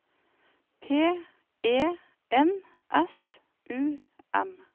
P E N S U M